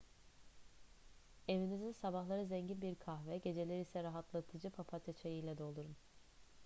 evinizi sabahları zengin bir kahve geceleri ise rahatlatıcı papatya çayı ile doldurun